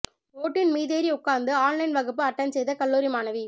ஓட்டின் மீதேறி உட்கார்ந்து ஆன்லைன் வகுப்பு அட்டெண்ட் செய்த கல்லூரி மாணவி